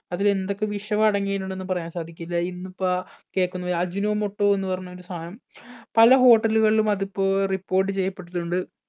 അതിലെന്തൊക്കെ വിഷം അടങ്ങിയിട്ടുണ്ടെന്ന് പറയാൻ സാധിക്കില്ല ഇന്നിപ്പ കേക്കുന്നൊരു ajinomoto എന്ന് പറഞ്ഞൊരു സാനം പല hotel കളിലും അതിപ്പോ report ചെയ്യപ്പെട്ടിട്ടുണ്ട്